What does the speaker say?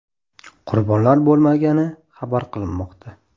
Qurbonlar bo‘lmagani xabar qilinmoqda.